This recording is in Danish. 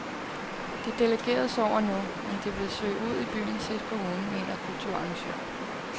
De delegerede sover nu, men de vil søge ud i byen sidst på ugen, mener kulturarrangør.